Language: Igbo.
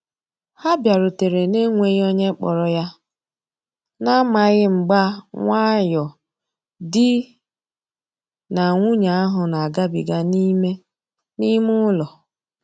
Ha biarutere na-enweghi onye kporo ya, na amaghi mgba nwayo di na nwunye ahu na agabiga n'ime n'ime ụlọ.